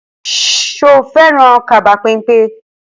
Ṣo fẹ́ràn kaba pẹ́npẹ́?